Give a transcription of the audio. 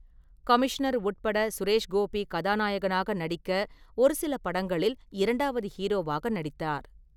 Commissioner உட்பட சுரேஷ்கோபி கதாநாயகனாக நடிக்க ஒரு சில படங்களில் இரண்டாவது ஹீரோவாக நடித்தார்.